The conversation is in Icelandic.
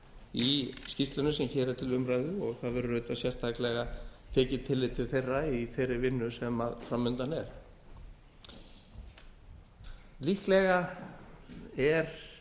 í skýrslunni sem hér er til umræðu og það verður auðvitað sérstaklega tekið tillit til þeirra í þeirri vinnu sem fram undan er líklega er